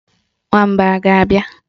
Nwamba a ga-abịa?